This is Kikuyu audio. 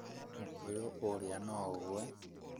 Mũkũyũ ũrĩa no ũgũe